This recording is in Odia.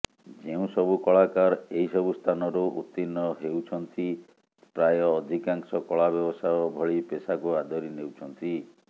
ଯେଉଁସବୁ କଳାକାର ଏହିସବୁ ସ୍ଥାନରୁ ଉତ୍ତୀର୍ଣ୍ଣ ହେଉଛନ୍ତି ପ୍ରାୟ ଅଧିକାଂଶ କଳା ବ୍ୟବସାୟ ଭଳି ପେଶାକୁ ଆଦରି ନେଉଛନ୍ତି